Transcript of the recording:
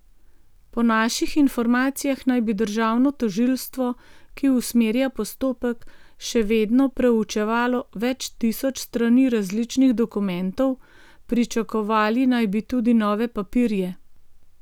Po naših informacijah naj bi državno tožilstvo, ki usmerja postopek, še vedno preučevalo več tisoč strani različnih dokumentov, pričakovali naj bi tudi nove papirje.